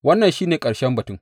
Wannan shi ne ƙarshen batun.